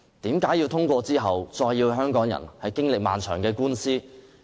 為何要通過法例令香港經歷漫長的官司？